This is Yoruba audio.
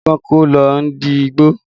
Igi kan kọ́ ló ń di igbó